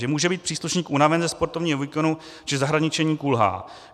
Že může být příslušník unaven ze sportovního výkonu či zahradničení, kulhá.